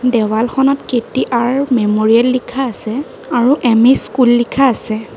দেৱালখনত K T R memorial লিখা আছে আৰু এম_ই স্কুল লিখা আছে।